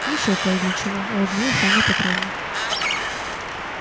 и ещё кое для чего улыбнулась анна петровна